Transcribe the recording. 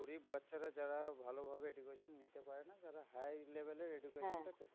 গরিব বাচ্চারা যারা ভালোভাবে education নিতে পারে না, তারা higher level এর education টা পেতে